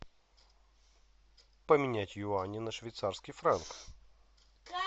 поменять юани на швейцарский франк